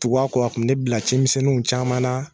Tugu a kɔ a tun bɛ ne bila cimisɛniw caman na.